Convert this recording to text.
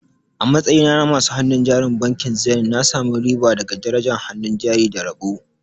A matsayina na masu hannun jarin bankin Zenith, na sami riba daga darajar hannun jari da rabo.